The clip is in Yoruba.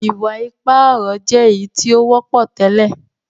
iwa-ipa ọrọ jé èyítí o wọpọ tẹlẹ.